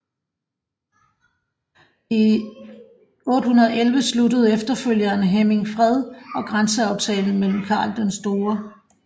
I 811 sluttede efterfølgeren Hemming fred og grænseaftale med Karl den Store